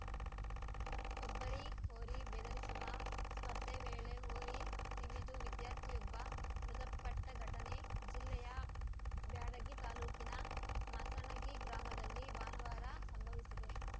ಕೊಬ್ಬರಿ ಹೋರಿ ಬೆದರಿಸುವ ಸ್ಪರ್ಧೆ ವೇಳೆ ಹೋರಿ ತಿವಿದು ವಿದ್ಯಾರ್ಥಿಯೊಬ್ಬ ಮೃತಪಟ್ಟಘಟನೆ ಜಿಲ್ಲೆಯ ಬ್ಯಾಡಗಿ ತಾಲೂಕಿನ ಮಾಸಣಗಿ ಗ್ರಾಮದಲ್ಲಿ ಭಾನುವಾರ ಸಂಭವಿಸಿದೆ